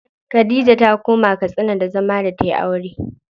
Khadija ta koma Katsina da zama da tayi aure.